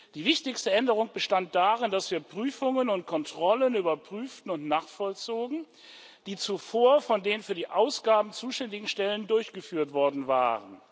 Die wichtigste Änderung bestand darin, dass wir Prüfungen und Kontrollen überprüften und nachvollzogen, die zuvor von den für die Ausgaben zuständigen Stellen durchgeführt worden waren.